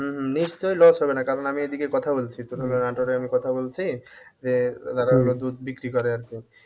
উম হম নিশ্চয়ই loss হবে না কারণ আমি এদিকে কথা বলছি তোর হলো নাটোরে আমি কথা বলছি যে যারা হলো দুধ বিক্রি করে আরকি